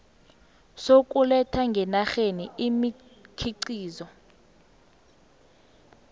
sokuletha ngenarheni imikhiqizo